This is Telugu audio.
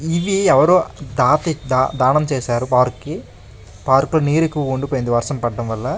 ఇవి ఎవరో ఆ దాత దానం చేశారు పార్క్ కి పార్క్ లో నీరు ఎక్కువ ఉండిపోయింది వర్షం పడటం వల్ల --